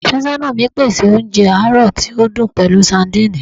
Afẹsọna mi ti pese ounjẹ aarọ ti o dun pẹlu sadìnìnnì